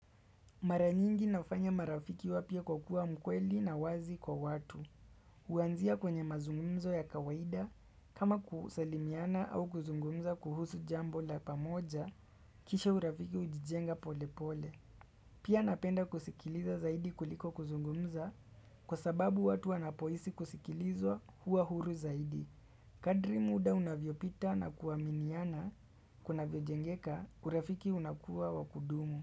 Maranyingi nafanya marafiki wapya kwa kuwa mkweli na wazi kwa watu. Kuanzia kwenye mazungumzo ya kawaida, kama kusalimiana au kuzungumza kuhusu jambo la pamoja, kisha urafiki ujijenga pole pole. Pia napenda kusikiliza zaidi kuliko kuzungumza, kwa sababu watu anapohisi kusikilizwa huwa huru zaidi. Kadri muda unavyopita na kuaminiana, kuna vyo jengeka, urafiki unakuwa wakudumu.